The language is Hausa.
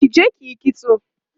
kije kiyi kitso!